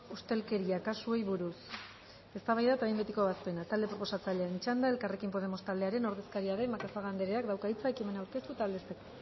ustelkeria kasuei buruz eztabaida eta behin betiko ebazpena talde proposatzailearen txanda elkarrekin podemos taldearen ordezkaria den macazaga andereak dauka hitza ekimena aurkeztu eta aldezteko